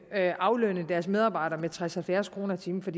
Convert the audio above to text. aflønne deres medarbejdere med tres til halvfjerds kroner i timen for